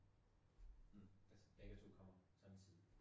Mh, altså begge to kommer samtidig